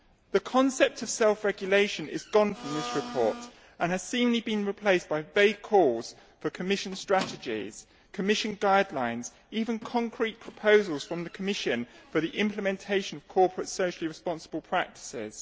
The concept of self regulation has gone from this report and has seemingly been replaced by vague calls for Commission strategies, Commission guidelines, even concrete proposals from the Commission for the implementation of corporate socially responsible practices.